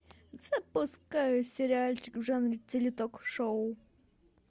запускай сериальчик в жанре теле ток шоу